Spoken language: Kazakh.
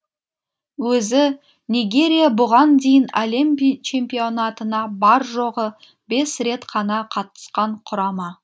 өзі нигерия бұған дейін әлем чемпионатына бар жоғы бес рет қана қатысқан құрама